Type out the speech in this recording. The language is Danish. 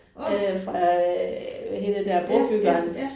Åh. Ja ja ja